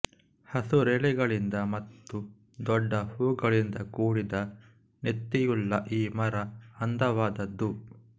ಹಸುರೆಲೆಗಳಿಂದ ಮತ್ತು ದೊಡ್ಡ ಹೂಗಳಿಂದ ಕೂಡಿದ ನೆತ್ತಿಯುಳ್ಳ ಈ ಮರ ಅಂದವಾದದ್ದು